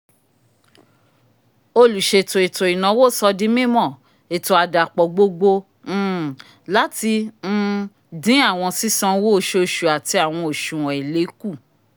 oluṣeto ètó ìnáwó sódì mimọ ètó àdàpọ̀ gbogbo um lati um din awọn sisanwo oṣooṣu ati awọn oṣuwọn èlé ku